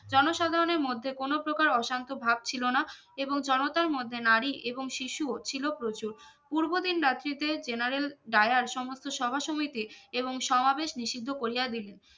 জনসাধারনের মধ্যে কোনোপ্রকার অশান্ত ভাব ছিলো না এবং জনতার মধ্যে নারি এবং শিশুও ছিলো প্রচুর পুর্ব দিন রাত্রিতে generaldayar সমস্ত সভাসমিতি এবং সমাবেশ নিষিদ্ধ করিয়া দিলেন